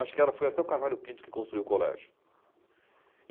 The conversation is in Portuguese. Acho que ela foi até o Carvalho Pinto que construiu o colégio.